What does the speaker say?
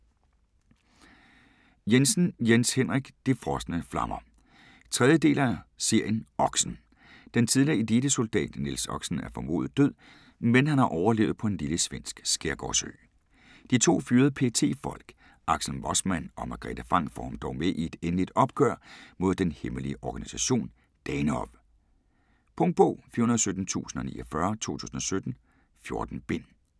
Jensen, Jens Henrik: De frosne flammer 3. del af serien Oxen. Den tidligere elitesoldat Niels Oxen er formodet død, men har overlevet på en lille svensk skærgårdsø. De to fyrede PET-folk, Axel Mossman og Margrethe Franck får ham dog med i et endeligt opgør mod den hemmelige organisation, Danehof. Punktbog 417049 2017. 14 bind.